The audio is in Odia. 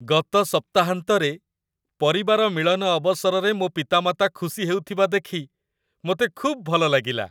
ଗତ ସପ୍ତାହାନ୍ତରେ, ପରିବାର ମିଳନ ଅବସରରେ ମୋ ପିତାମାତା ଖୁସି ହେଉଥିବା ଦେଖି ମୋତେ ଖୁବ୍ ଭଲ ଲାଗିଲା।